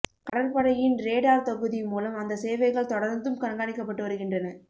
கடற்படையின் ரேடார் தொகுதி மூலம் அந்த சேவைகள் தொடர்ந்தும் கண்காணிக்கப்பட்டு வருகின்றன